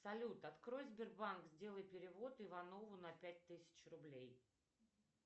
салют открой сбербанк сделай перевод иванову на пять тысяч рублей